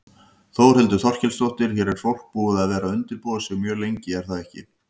Þórhildur Þorkelsdóttir: Hér er fólk búið að vera undirbúa sig mjög lengi er það ekki?